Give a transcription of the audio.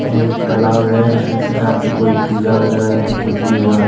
यह एक तालाब है इसमें से शायद से कोई पूजा वगैरह या फिर कुछ भी हो रहा है।